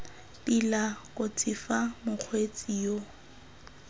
tila kotsi fa mokgweetsi yo